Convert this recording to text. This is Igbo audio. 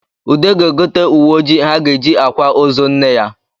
Ude ga-egote uwe ojii ha ga-eji akwa ozo nne ya